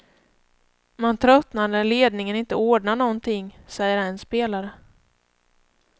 Man tröttnar när ledningen inte ordnar någonting, säger en spelare.